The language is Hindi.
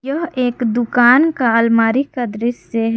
यह एक दुकान का आलमारी का दृश्य है।